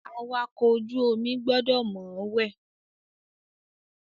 Awakọ̀ ojú omi gbọdọ̀ mọ̀ọ́wẹ̀.